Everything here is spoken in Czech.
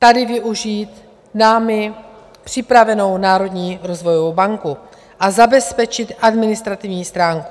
Tady využít námi připravenou Národní rozvojovou banku a zabezpečit administrativní stránku.